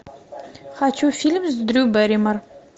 хочу фильм с дрю бэрримор